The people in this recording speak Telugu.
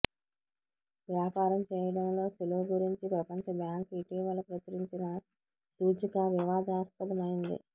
వ్యాపారం చేయడంలో సులువు గురించి ప్రపంచబ్యాంకు ఇటీవల ప్రచురించిన సూచిక వివాదాస్పదమైంది